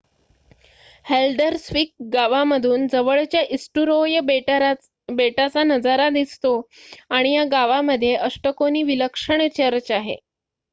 Haldarsvik गावामधून जवळच्या Eysturoy बेटाचा नजारा दिसतो आणि या गावामध्ये अष्टकोनी विलक्षण चर्च आहे